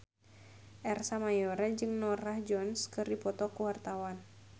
Ersa Mayori jeung Norah Jones keur dipoto ku wartawan